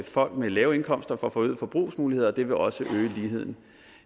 folk med lave indkomster også får forøgede forbrugsmuligheder det vil også øge ligheden